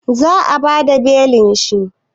Za a bada belin shi?